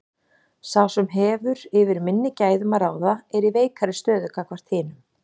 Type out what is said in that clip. Sá sem hefur yfir minni gæðum að ráða er í veikari stöðu gagnvart hinum.